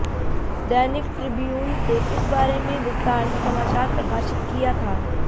दैनिक Tribune से इस बारे में विस्तार से समाचार प्रकाशित किया था